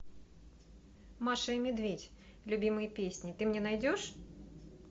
маша и медведь любимые песни ты мне найдешь